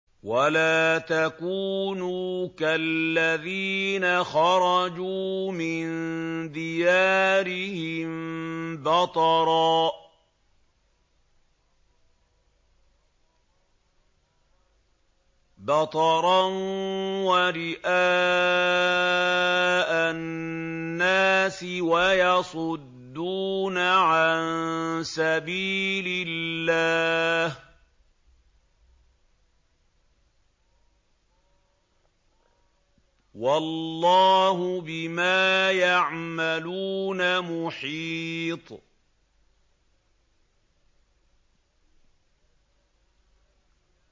وَلَا تَكُونُوا كَالَّذِينَ خَرَجُوا مِن دِيَارِهِم بَطَرًا وَرِئَاءَ النَّاسِ وَيَصُدُّونَ عَن سَبِيلِ اللَّهِ ۚ وَاللَّهُ بِمَا يَعْمَلُونَ مُحِيطٌ